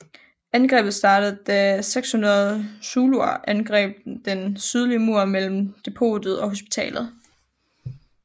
Angrebet startede da 600 zuluer angreb den sydlige mur mellem depotet og hospitalet